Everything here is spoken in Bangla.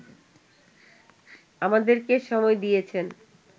আমাদেরকে সময় দিয়েছেন